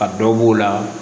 A dɔ b'o la